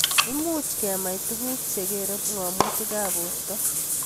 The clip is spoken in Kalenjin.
Much kemach tuguk che kerei ng'amutik ab porto